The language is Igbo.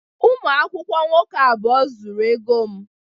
Ụmụ akwụkwọ nwoke abụọ zuru ego m.